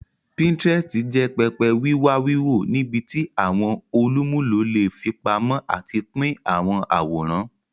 Pinterest jẹ pẹpẹ wiwa wiwo nibiti awọn olumulo le fipamọ ati pin awọn aworan.